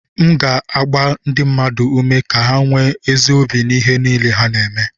M ga na-agba ndị mmadụ ume ka ha nwee ezi obi n'ihe niile ha na-eme